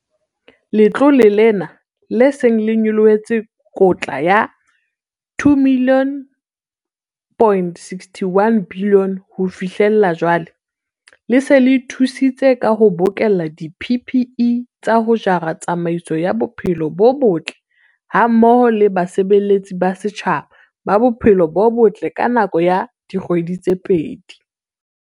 Letlole lena, le seng le nyollotse kotla ya R2.61 bilione ho fihlela jwale, le se le thusitse ka ho bokella di-PPE tsa ho jara tsamaiso ya bophelo bo botle hammoho le basebeletsi ba setjhaba ba bophelo bo botle ka nako ya dikgwedi tse pedi.